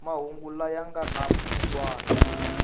mahungu laya nga na mulawuri